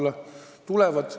Tahavad küll!